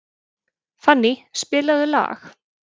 Fanny, spilaðu lag.